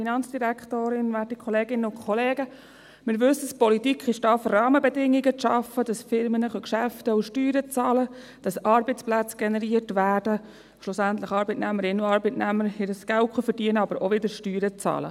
Wir wissen es, die Politik ist da, um Rahmenbedingungen zu schaffen, sodass Firmen Geschäfte machen können und Steuern bezahlen, damit Arbeitsplätze generiert werden, damit schlussendlich Arbeitnehmerinnen und Arbeitnehmer ihr Geld verdienen können, aber auch wieder Steuern bezahlen.